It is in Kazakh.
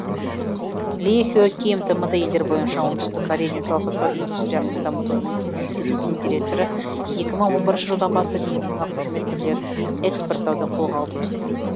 ли хе ким тмд елдері бойынша оңтүстік корея денсаулық сақтау индустриясын дамыту институтының директоры екі мың он бірінші жылдан бастап медициналық қызмет түрлерін экспорттауды қолға алдық